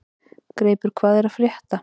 Greipur, hvað er að frétta?